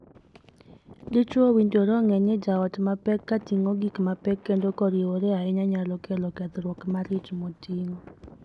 Dichwo owinjore ong'ee ni jaot ma pek ka ting'o gik mapek kendo koriewore ahinya nyalo kelo kethruok mar ich moting'o.